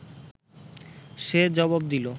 সে জবাব দিল